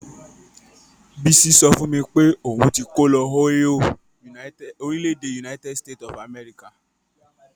Bisi sọ fún mi pé òun ti kó lọ Ohio, orílẹ̀-èdè United States of America.